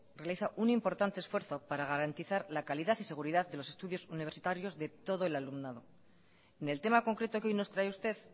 realiza un importante esfuerzo para garantizar la calidad y seguridad de los estudios universitarios de todo el alumnado en el tema concreto que hoy nos trae usted